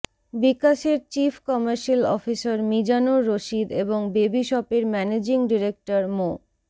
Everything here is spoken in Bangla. বিকাশের chief commercial officer Mizanur Rashid এবং বেবিশপের ম্যানেজিং ডিরেক্টর মো